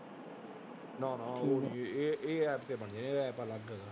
ਨਾ ਨਾ ਇਹ ਇਹ app ਤੇ ਬਣਦੀਆਂ ਇਹ app ਅਲੱਗ ਹੈ